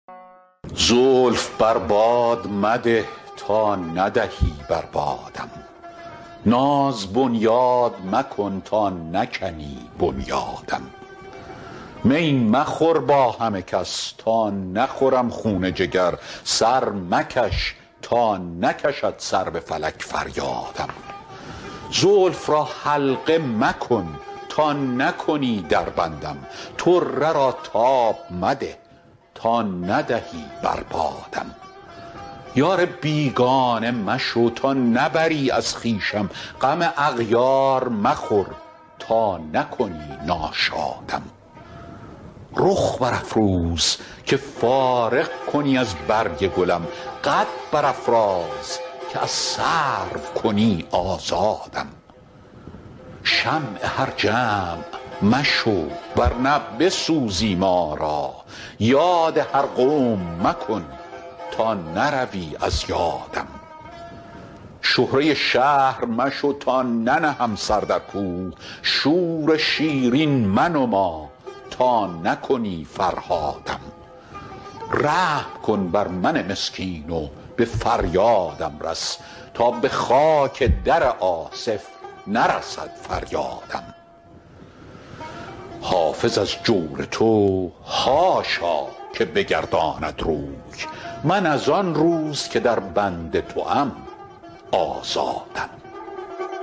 زلف بر باد مده تا ندهی بر بادم ناز بنیاد مکن تا نکنی بنیادم می مخور با همه کس تا نخورم خون جگر سر مکش تا نکشد سر به فلک فریادم زلف را حلقه مکن تا نکنی در بندم طره را تاب مده تا ندهی بر بادم یار بیگانه مشو تا نبری از خویشم غم اغیار مخور تا نکنی ناشادم رخ برافروز که فارغ کنی از برگ گلم قد برافراز که از سرو کنی آزادم شمع هر جمع مشو ور نه بسوزی ما را یاد هر قوم مکن تا نروی از یادم شهره شهر مشو تا ننهم سر در کوه شور شیرین منما تا نکنی فرهادم رحم کن بر من مسکین و به فریادم رس تا به خاک در آصف نرسد فریادم حافظ از جور تو حاشا که بگرداند روی من از آن روز که در بند توام آزادم